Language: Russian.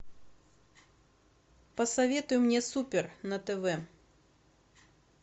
посоветуй мне супер на тв